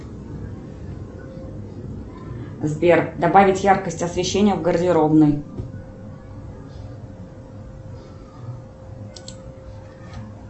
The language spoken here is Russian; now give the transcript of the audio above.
сбер добавить яркость освещения в гардеробной